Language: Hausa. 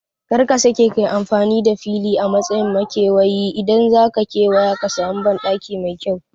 Kar ka sake kayi amfani da fili a matsayin makewayi, idan zaka kewaya ka samu banɗaki mai kyau